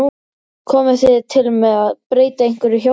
Komið þið til með að breyta einhverju hjá ykkur?